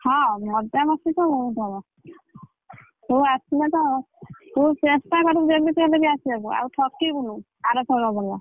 ହଁ ମଜାମସ୍ତି ତ ବହୁତ ହବ ତୁ ଆସିଲେ ତ ତୁ ଚେଷ୍ଟା କରିବୁ ଯେମିତି ହେଲେବି ଆସିବାକୁ ଆଉ ଠକିବୁନୁ ଆରଥରକ ଭଳିଆ।